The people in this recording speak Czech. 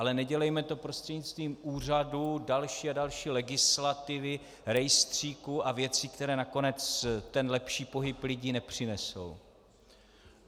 Ale nedělejme to prostřednictvím úřadu, další a další legislativy, rejstříků a věcí, které nakonec ten lepší pohyb lidí nepřinesou.